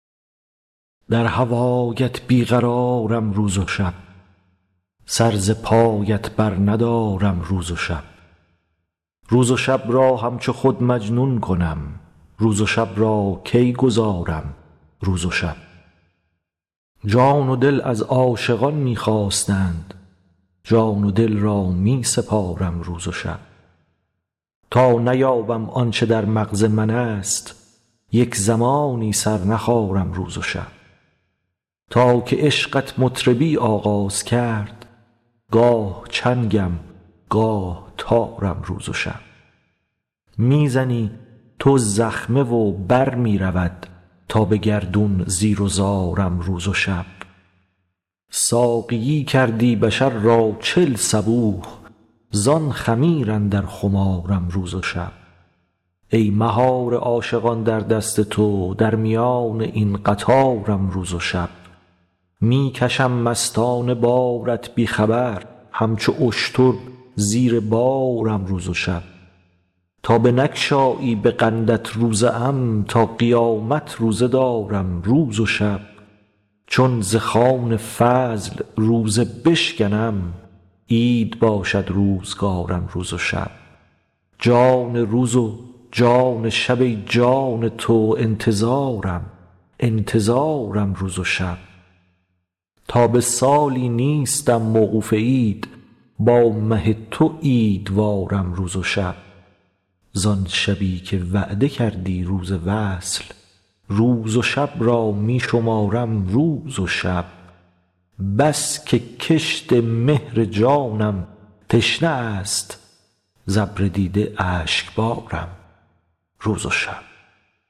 در هوایت بی قرارم روز و شب سر ز پایت برندارم روز و شب روز و شب را همچو خود مجنون کنم روز و شب را کی گذارم روز و شب جان و دل از عاشقان می خواستند جان و دل را می سپارم روز و شب تا نیابم آن چه در مغز منست یک زمانی سر نخارم روز و شب تا که عشقت مطربی آغاز کرد گاه چنگم گاه تارم روز و شب می زنی تو زخمه و بر می رود تا به گردون زیر و زارم روز و شب ساقیی کردی بشر را چل صبوح زان خمیر اندر خمارم روز و شب ای مهار عاشقان در دست تو در میان این قطارم روز و شب می کشم مستانه بارت بی خبر همچو اشتر زیر بارم روز و شب تا بنگشایی به قندت روزه ام تا قیامت روزه دارم روز و شب چون ز خوان فضل روزه بشکنم عید باشد روزگارم روز و شب جان روز و جان شب ای جان تو انتظارم انتظارم روز و شب تا به سالی نیستم موقوف عید با مه تو عیدوارم روز و شب زان شبی که وعده کردی روز وصل روز و شب را می شمارم روز و شب بس که کشت مهر جانم تشنه است ز ابر دیده اشکبارم روز و شب